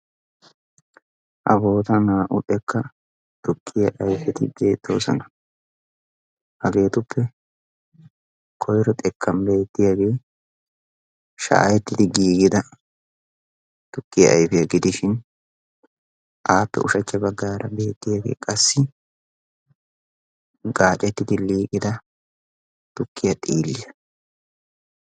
Ha bootan naa'u xekka tukkiya ayfeti beettoosona. Hageetuppe koyro xekkan beettiyagee shaayettidi giigida tukkiya ayfiya gidishin appe ushachcha baggaara beettiyagee qassi gaacettidi liiqida tukkiya xiilliya.